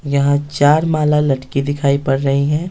यहाँ चार माला लटकी दिखाई पड़ रही हैं।